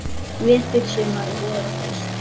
Vetur, sumar, vor og haust.